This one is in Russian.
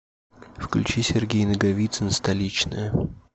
включи сергей наговицын столичная